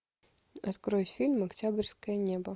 открой фильм октябрьское небо